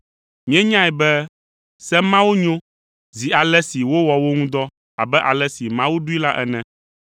Míenyae be se mawo nyo, zi ale si wowɔ wo ŋu dɔ abe ale si Mawu ɖoe la ene.